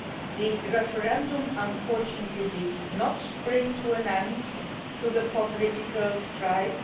The referendum, unfortunately, did not bring an end to the political strife.